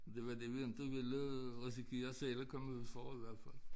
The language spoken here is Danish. Det var det vi inte ville øh risikere selv at komme ud for i hvert fald